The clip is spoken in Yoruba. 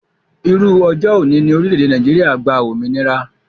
Irú ọjọ́ òní ni orílédé Nàìjíría gba òmìnira